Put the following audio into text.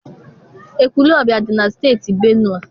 Ekwulobia adị na Steeti Benue?